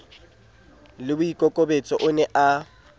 le boikokobetso o ne a